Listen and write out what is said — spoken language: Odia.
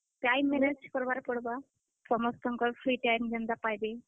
Time manage କରବା କେ ପଡ୍ ବା ସମସ୍ତଙ୍କର free time ଯେନ୍ ତା ପାଏବେ।